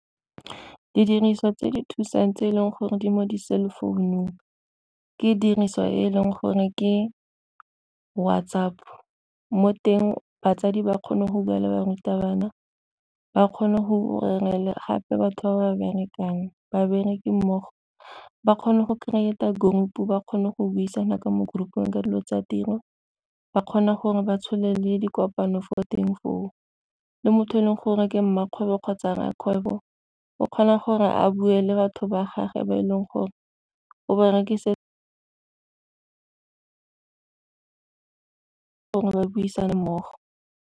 Didiriswa tse di thusang tse e leng gore di mo di-cell phone-ung ka diriswa e leng gore ke WhatsApp, mo teng batsadi ba kgone go bua le barutabana ba kgone go gape batho ba ba berekang, babereki mmogo ba kgone go creator group ba kgone go buisana ka mo group-ung ka dilo tsa tiro, ba kgona gore ba tshole le dikopano fo teng foo, le motho e leng gore ke mmakgwebo kgotsa rrakgwebo o kgona gore a bue le batho ba gage ba e leng gore o bana ke gore o ba gore ba buisane mmogo.